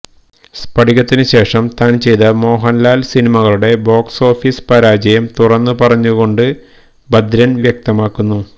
സ്ഫടികത്തിന് ശേഷം താന് ചെയ്ത മോഹന്ലാല് സിനിമകളുടെ ബോക്സ് ഓഫീസ് പരാജയം തുറന്നു പറഞ്ഞു കൊണ്ട് ഭദ്രന് വ്യക്തമാക്കുന്നു